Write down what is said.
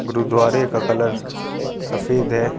गुरूद्वारे का कलर सफ़ेद है।